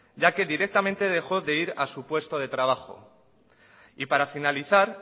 ya que directamente dejó de ir a su puesto de trabajo y para finalizar